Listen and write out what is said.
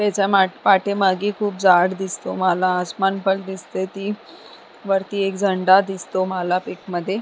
पाठीमागे खूप झाड दिसतो मला आणि आसमान पण दिसतो वरती एक झेंडा दिसतो मला पिक मध्ये.